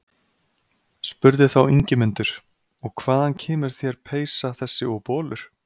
Spurði þá Ingimundur: Og hvaðan kemur þér peysa þessi og bolur?